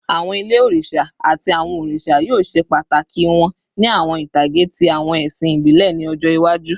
Awọn ile oriṣa ati awọn oriṣa yoo ṣe pataki wọn ni awọn itage ti awọn ẹsin ibile ni ọjọ iwaju